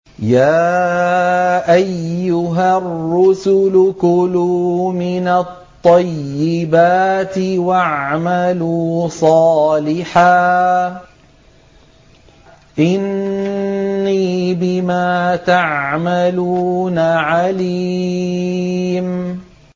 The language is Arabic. يَا أَيُّهَا الرُّسُلُ كُلُوا مِنَ الطَّيِّبَاتِ وَاعْمَلُوا صَالِحًا ۖ إِنِّي بِمَا تَعْمَلُونَ عَلِيمٌ